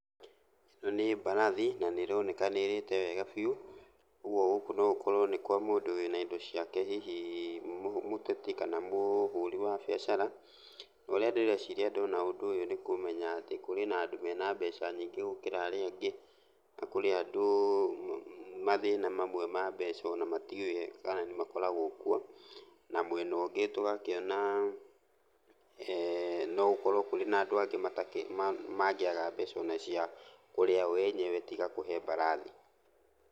Ĩno nĩ mbarathi na nĩroneka nĩĩrĩte wega biũ, ũguo gũkũ no gũkorwo nĩ kwa mũndũ wĩna indo ciake, hihi mũteti kana mũhũri wa mbiacara. Na, ũrĩa ndĩreciria ndona ũndũ ũyũ nĩ kũmenya atĩ kũrĩ na andũ mena mbeca nyingĩ gũkĩra arĩa angĩ, na kũrĩ andũ mathĩna mamwe ma mbeca ona matiũĩ kana nĩmakoragwo kuo. Na mwena ũngĩ tũgakĩona no gũkorwo kũrĩ na andũ angĩ mangĩaga mbeca ona cia kũrĩa o enyewe tiga kũhe mbarathi.